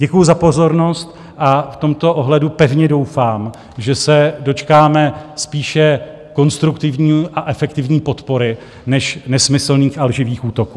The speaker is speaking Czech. Děkuji za pozornost a v tomto ohledu pevně doufám, že se dočkáme spíše konstruktivní a efektivní podpory než nesmyslných a lživých útoků.